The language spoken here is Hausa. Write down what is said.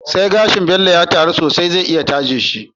Sai gashin Bello ya taru sosai zai iya taje shi